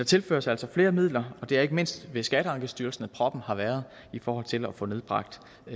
tilføres altså flere midler og det er ikke mindst ved skatteankestyrelsen hvor proppen har været i forhold til at få nedbragt